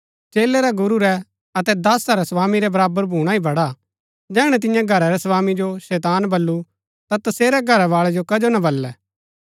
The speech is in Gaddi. चेलै रा गुरू रै अतै दासा रा स्वामी रै बराबर भूणा ही बड़ा हा जैहणै तिन्यै घरा रै स्वामी जो शैतान बल्लू ता तसेरै घरावाळै जो कजो ना बललै